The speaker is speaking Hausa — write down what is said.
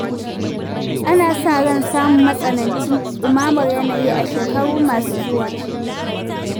Ana sa ran samu matsanancin ɗumamar yanayi a shekaru masu zuwa.